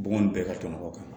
Bɔgɔ in bɛɛ kamɔgɔn kan